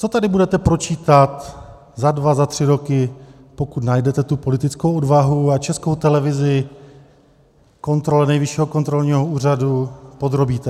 Co tedy budete pročítat za dva za tři roky, pokud najdete tu politickou odvahu a Českou televizi kontrole Nejvyššího kontrolního úřadu podrobíte?